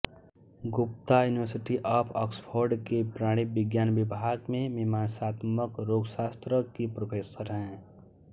Gupta university of Oxford के प्राणि विज्ञान विभाग में मीमांसात्मक रोगशास्त्र की प्रोफ़ेसर हैं